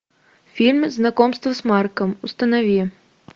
фильм знакомство с марком установи